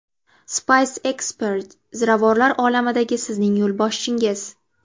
Spice Expert ziravorlar olamidagi sizning yo‘lboshchingiz.